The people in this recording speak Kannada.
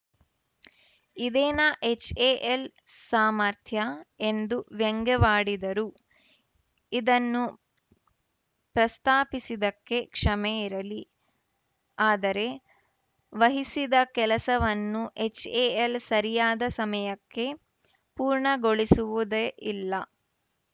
ಇದೇನಾ ಎಚ್‌ಎಎಲ್‌ ಸಾಮರ್ಥ್ಯ ಎಂದು ವ್ಯಂಗ್ಯವಾಡಿದರು ಇದನ್ನು ಪ್ರಸ್ತಾಪಿಸಿದ್ದಕ್ಕೆ ಕ್ಷಮೆಯಿರಲಿ ಆದರೆ ವಹಿಸಿದ ಕೆಲಸವನ್ನು ಎಚ್‌ಎಎಲ್‌ ಸರಿಯಾದ ಸಮಯಕ್ಕೆ ಪೂರ್ಣಗೊಳಿಸುವುದೇ ಇಲ್ಲ